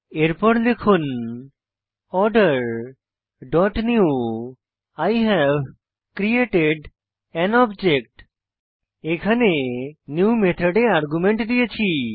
এরপর লিখুন order dot newই হেভ ক্রিয়েটেড আন অবজেক্ট এখানে নিউ মেথডে আর্গুমেন্ট দিয়েছি